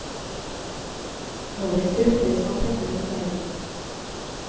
Håret strutter som antenner mot verden.